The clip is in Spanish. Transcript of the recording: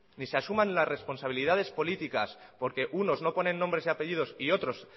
ni se asumen las responsabilidades políticas porque unos no ponen nombres y apellidos y otros